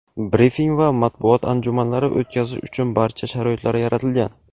brifing va matbuot anjumanlari o‘tkazish uchun barcha sharoitlar yaratilgan.